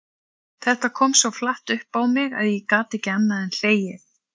Þetta kom svo flatt upp á mig að ég gat ekki annað en hlegið.